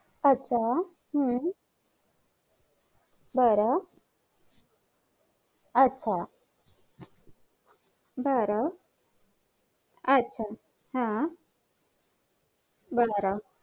आच्छा हु बर आच्छा बर आच्छा हा बर